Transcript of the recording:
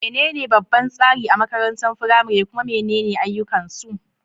Menene babban tsari a makarantar firamare, kuma menene ayyukansu?